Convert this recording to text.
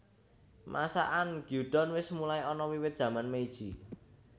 Masakan Gyudon wis mulai ana wiwit zaman Meiji